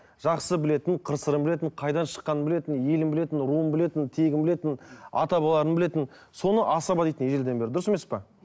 жақсы білетін қыр сырын білетін қайдан шыққанын білетін елін білетін руын білетін тегін білетін ата бабаларын білетін соны асаба дейді ежелден бері дұрыс емес пе